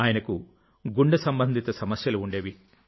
ఆయనకు గుండె సంబంధిత సమస్యలు ఉండేవి